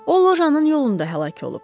O, lojanın yolunda həlak olub.